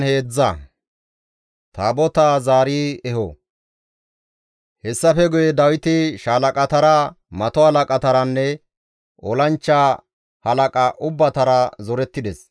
Hessafe guye Dawiti shaalaqatara, mato halaqataranne olanchcha halaqata ubbatara zorettides.